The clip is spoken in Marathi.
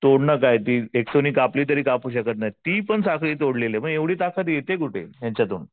तोडणं काय ते नं कापलं तरी कापू शकत नाही ती पण साखळी तोडलेली मग एवढी ताकत येते कुठे यांच्यातून?